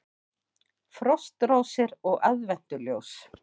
Frostrósir og aðventuljós